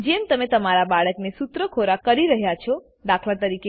જેમ તમે તમારા બાળકને સૂત્ર ખોરાક કરી રહ્યાં છો દાત